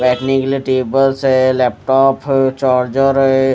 बैठने के लिए टेबल्स है लैपटॉफ चार्जर है।